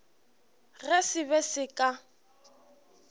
ge se be se ka